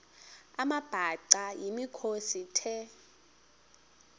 amabhaca yimikhosi the